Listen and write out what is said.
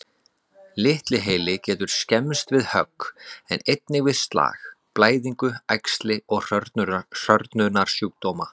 Litli heili getur skemmst við högg, en einnig við slag, blæðingu, æxli og hrörnunarsjúkdóma.